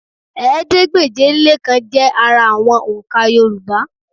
Ẹ̀ẹ́dégbèje-lé-kan jẹ́ ara àwọn òǹkà Yorùbá